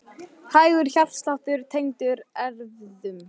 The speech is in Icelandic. Hægur hjartsláttur tengdur erfðum